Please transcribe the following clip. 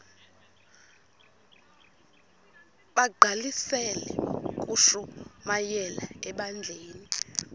bagqalisele ukushumayela ebandleni